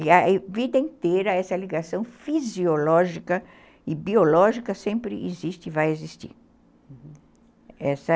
E a vida inteira essa ligação fisiológica e biológica sempre existe e vai existir, uhum, essa